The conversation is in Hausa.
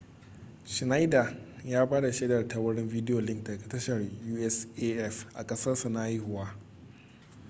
schneider ya ba da shaida ta wurin video link daga tashar usaf a kasarsa na haihuwa